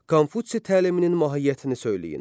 Konfutsi təliminin mahiyyətini söyləyin.